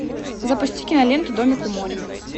запусти киноленту домик у моря